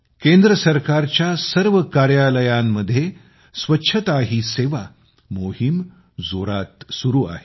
केंद्र सरकारच्या सर्व कार्यालयांमध्ये स्वच्छता ही सेवा मोहीम जोरात सुरू आहे